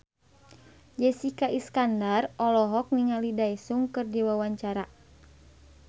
Jessica Iskandar olohok ningali Daesung keur diwawancara